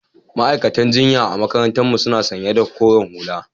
Ma'aiƙatan jinƴa a maƙarantar mu suna sanƴa da ƙoren hula.